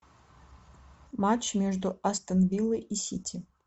матч между астон виллой и сити